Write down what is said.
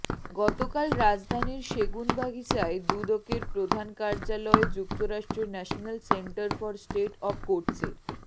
গতকাল রাজধানীর সেগুনবাগিচায় দুদকের প্রধান কার্যালয়ে যুক্তরাষ্ট্রের National Center for State of কোর্টসের